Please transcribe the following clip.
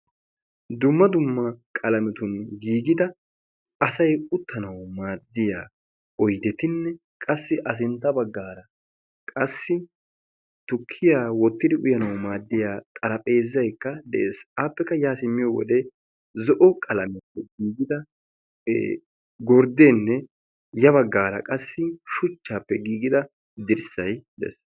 Dumma dumma qalametun giigida asay uttanawu maaddiya oydetinne qassi A sintta baggaara qassi tukkiya wottidi uyanawu maaddiya xarphpheezaykka de'ees. Appekka yaa simmiyo wode zo'o qalamiyan giigida gorddeenne ya baggaara qassi shuchchappe giigida dirssay de'ees. de'ees.